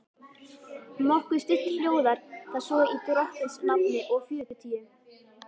Nokkuð stytt hljóðar það svo í drottins nafni og fjörutíu